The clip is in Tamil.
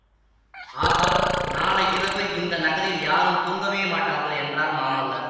ஆகா நாளை இரவு இந்த நகரில் யாரும் தூங்கவே மாட்டார்கள் என்றார் மாமல்லர்